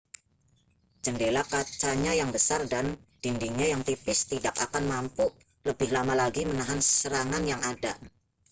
jendela kacanya yang besar dan dindingnya yang tipis tidak akan mampu lebih lama lagi menahan serangan yang ada